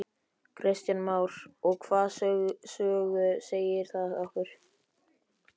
Kristján Már: Og hvaða sögu segir það okkur?